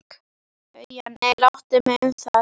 BAUJA: Nei, láttu mig um það.